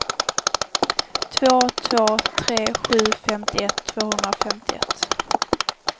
två två tre sju femtioett tvåhundrafemtioett